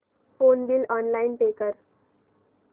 phone bill online pay कर